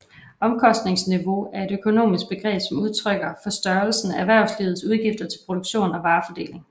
Omkostningsniveau er et økonomisk begreb som udtrykker for størrelsen af erhvervslivets udgifter til produktion og varefordeling